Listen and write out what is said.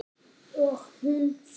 Og hún fór.